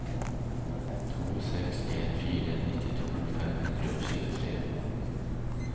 to seks en fire nittito fem hundre og tjuetre